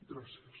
gràcies